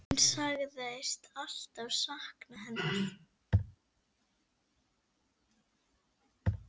Hún sagðist alltaf sakna hennar.